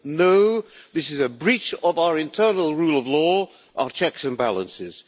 No, this is a breach of our internal rule of law, our checks and balances.